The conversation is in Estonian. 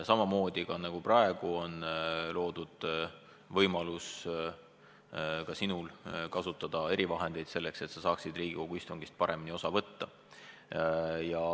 Samamoodi on loodud võimalus ka sinul kasutada erivahendeid, et sa saaksid Riigikogu istungist paremini osa võtta.